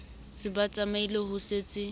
se ba tsamaile ho setse